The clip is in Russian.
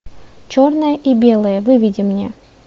черное и белое выведи мне